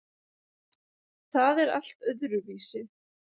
Það er allt öðruvísi.